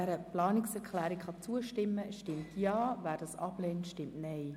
Wer der Planungserklärung zustimmt, stimmt Ja, wer diese ablehnt, stimmt Nein.